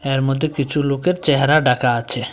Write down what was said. যার মধ্যে কিছু লোকের চেহারা ঢাকা আছে।